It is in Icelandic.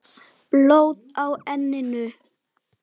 Blóð á enninu.